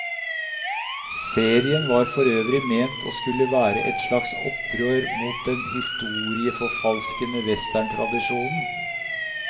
Serien var forøvrig ment å skulle være et slags opprør mot den historieforfalskende westerntradisjonen.